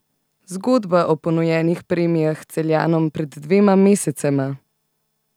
Zgodba o ponujenih premijah Celjanom pred dvema mesecema?